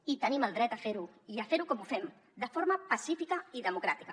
i tenim el dret a fer ho i a fer ho com ho fem de forma pacífica i democràtica